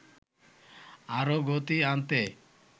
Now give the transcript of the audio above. আরও গতি আনতে